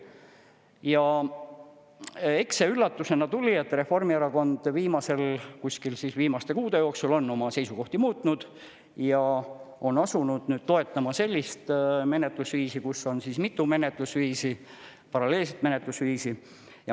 Ja eks see üllatusena tuli, et Reformierakond kuskil viimaste kuude jooksul on oma seisukohti muutnud ja on asunud toetama sellist menetlusviisi, kus on mitu paralleelset menetlusviisi.